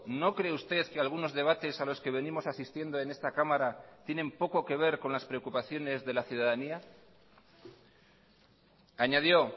no cree usted que algunos debates a los que venimos asistiendo en esta cámara tienen poco que ver con las preocupaciones de la ciudadanía añadió